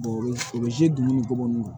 o bɛ o bɛ ni ko minnu na